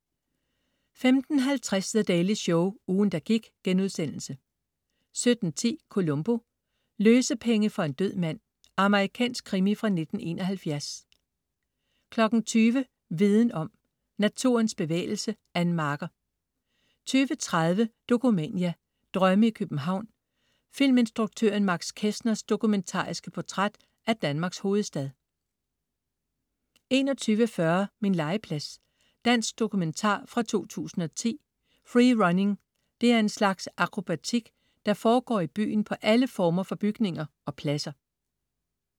15.50 The Daily Show, ugen, der gik* 17.10 Columbo: Løsepenge for en død mand. Amerikansk krimi fra 1971 20.00 Viden om. Naturens bevægelse. Ann Marker 20.30 Dokumania: Drømme i København. Filminstruktøren Max Kestners dokumentariske portræt af Danmarks hovedstad 21.40 Min legeplads. Dansk dokumentar fra 2010. Free running er en slags akrobatik, der foregår i byen på alle former for bygninger og pladser